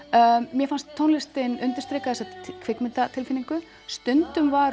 mér fannst tónlistin undirstrika þessa kvikmyndatilfinningu stundum